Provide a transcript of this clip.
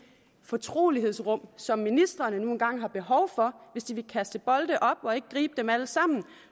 fortrolighedsrum som ministrene nu engang har behov for hvis de vil kaste bolde op og ikke gribe dem alle sammen